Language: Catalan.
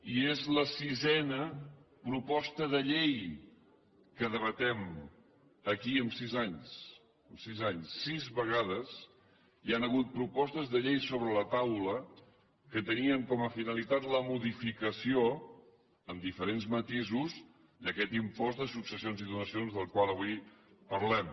i és la sisena proposta de llei que debatem aquí en sis anys sis anys sis vegades hi han hagut propostes de llei sobre la taula que tenien com a finalitat la modificació amb diferents matisos d’aquest impost de successions i donacions del qual avui parlem